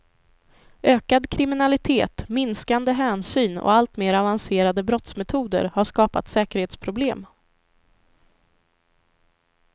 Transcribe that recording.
Ökad kriminalitet, minskande hänsyn och allt mera avancerade brottsmetoder har skapa säkerhetsproblem.